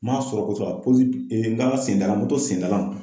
N m'a sɔrɔ kosɔbɛ kala se dalan moto sen dalan.